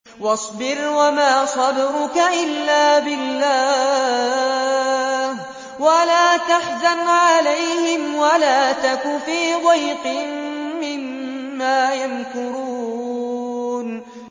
وَاصْبِرْ وَمَا صَبْرُكَ إِلَّا بِاللَّهِ ۚ وَلَا تَحْزَنْ عَلَيْهِمْ وَلَا تَكُ فِي ضَيْقٍ مِّمَّا يَمْكُرُونَ